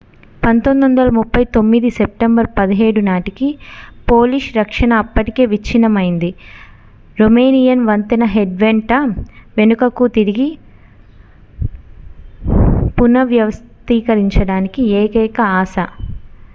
1939 September 17 నాటికి Polish రక్షణ అప్పటికే విచ్ఛిన్నమైంది రోమేనియన్ వంతెన హెడ్ వెంట వెనుకకు తిరిగి పునర్వ్యవస్థీకరించడానికి ఏకైక ఆశ